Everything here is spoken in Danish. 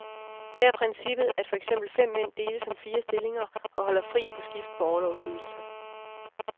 Her er princippet, at for eksempel fem mænd deles om fire stillinger og holder fri på skift på orlovsydelse.